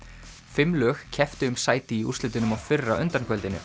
fimm lög kepptu um sæti í úrslitunum á fyrra